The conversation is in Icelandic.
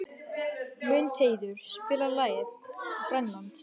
Mundheiður, spilaðu lagið „Grænland“.